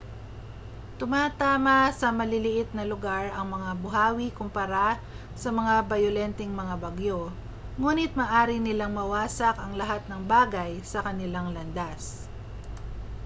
tumatama sa maliit na lugar ang mga buhawi kumpara sa mas bayolenteng mga bagyo nguni't maaari nilang mawasak ang lahat ng bagay sa kanilang landas